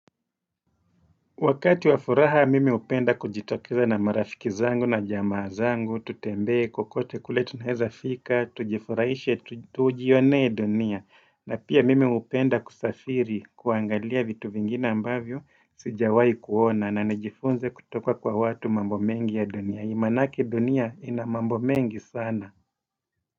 Wakati wa furaha mimi hupenda kujitokeza na marafiki zangu na jamaa zangu, tutembee kokote kule tunaeza fika, tujifuraishe, tujionee dunia. Na pia mimi hupenda kusafiri kuangalia vitu vingine ambavyo sijawai kuona na nijifunze kutoka kwa watu mambo mengi ya dunia. Maanake dunia ina mambo mengi sana.